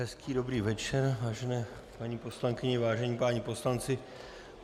Hezký dobrý večer, vážené paní poslankyně, vážení páni poslanci.